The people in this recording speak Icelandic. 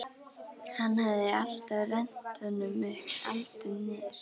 Hann hafði alltaf rennt honum upp, aldrei niður.